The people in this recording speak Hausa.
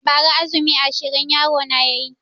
Ba ra azumi ashirin yaro na yayi